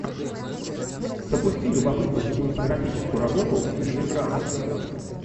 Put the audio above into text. запусти любопытную кинематографическую работу в стиле драмы